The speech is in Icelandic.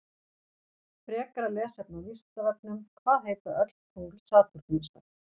Frekara lesefni á Vísindavefnum: Hvað heita öll tungl Satúrnusar?